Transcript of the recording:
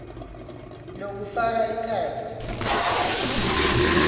lokufaka ekhatsi